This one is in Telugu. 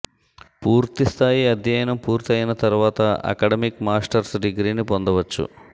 పూర్తిస్థాయి అధ్యయనం పూర్తి అయిన తర్వాత అకడమిక్ మాస్టర్స్ డిగ్రీని పొందవచ్చు